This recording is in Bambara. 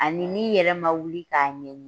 Ani n'i yɛrɛ ma wuli k'a ɲɛɲini